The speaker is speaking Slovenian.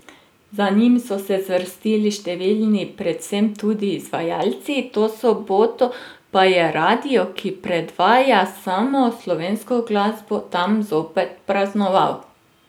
Za njim so se zvrstili številni, predvsem tudi izvajalci, to soboto pa je radio, ki predvaja samo slovensko glasbo tam zopet praznoval.